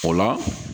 O la